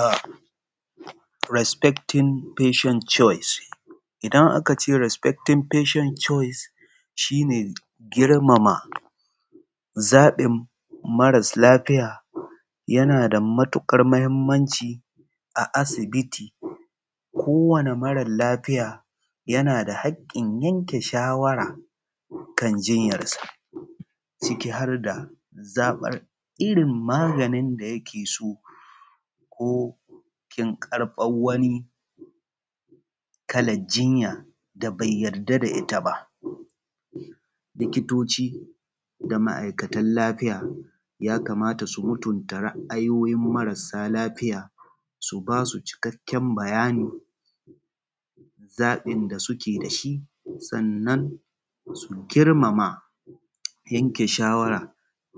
A resfektin feshen cowis. Idan aka ce resfektin feshen cowis shi ne girmama zaɓin mara sa lafiya yana da matuƙar mahinmanci a asibiti kowane mara lafiya yana da haƙƙin yanke shawara kan jinyanrsa ciki har da zaɓin irin maganin da yake so ko finkar wani kalar jinya da bai yarda da ita ba. Likitoci da masu aikatan lafiya ya kamata su mutunta ra’ayoyin marasa lafiya su ba su cikakken bayanin zaɓin da suke das hi sannan su girmama yanke shawara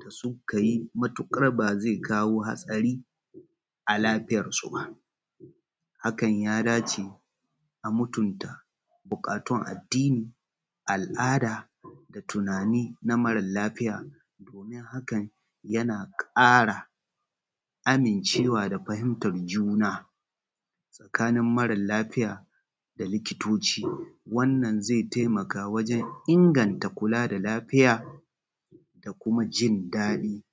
da suka yi matukar ba zai kawo hatsari a lafiyarsu ba. Hakan ya dace a mutunta buƙatun addini, al’ada da tunani na mara lafiya domin hakan yana ƙara amincewa da fahimtan juna tsakanin mara lafiya da likitoci, wannan zai taimaka wajen ingata kula da lafiya da kuma jin daɗi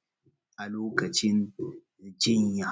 a lokacin jinya.